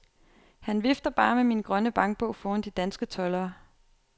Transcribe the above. Han vifter bare med min grønne bankbog foran de danske toldere.